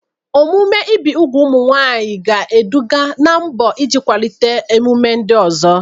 Omume ibi úgwù ụmụ nwanyị ga-eduga ná mbọ iji kwalite ememe ndị ọzọ.